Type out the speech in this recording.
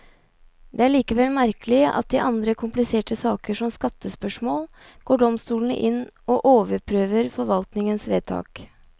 Det er likevel merkelig at i andre kompliserte saker, som skattespørsmål, går domstolene inn og overprøver forvaltningens vedtak.